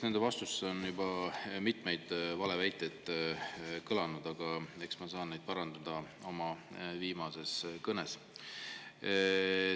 Nendes vastustes on juba mitmeid valeväiteid kõlanud, aga eks ma saan neid parandada oma kõnes.